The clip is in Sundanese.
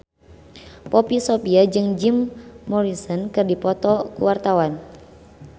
Poppy Sovia jeung Jim Morrison keur dipoto ku wartawan